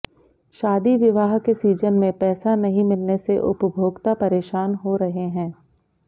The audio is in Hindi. शादी विवाह के सीजन मे पैसा नहीं मिलने से उपभोक्ता परेशान हो रहे हैं